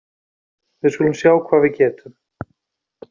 Við skulum sjá hvað við getum